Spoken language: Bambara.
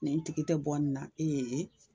Nin tigi tɛ bɔ in na ee